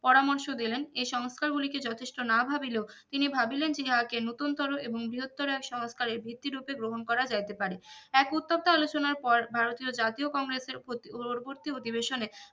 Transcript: পরামর্শ দিলেন এই সংস্কার গুলিকে যথেষ্ট না ভাবিলেও তিনি ভাবিলেন তিনি ইহা কে নতুন্তোরো এবং বৃহত্তর এক সংস্কারের এই ভীতি রুপে গ্রহন করা যাইতে পারে এক উত্তপ্ত আলোচনার পর ভারতীয় জাতীয় কংগ্রেসের উ উৎপত্তি অধিবেশনে